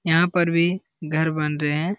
यहां पर भी घर बन रहे हैं।